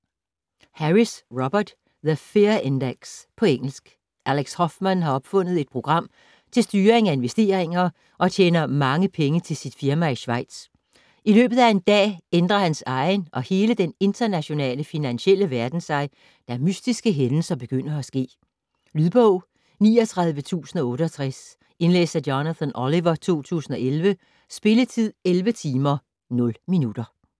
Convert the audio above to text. Harris, Robert: The fear index På engelsk. Alex Hoffman har opfundet et program til styring af investeringer, og tjener mange penge til sit firma i Schweiz. I løbet af en dag ændrer hans egen og hele den internationale finansielle verden sig, da mystiske hændelser begynder at ske. Lydbog 39068 Indlæst af Jonathan Oliver, 2011. Spilletid: 11 timer, 0 minutter.